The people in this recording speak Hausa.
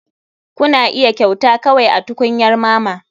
Kuna iya kyauta kawai a tukunyar mama.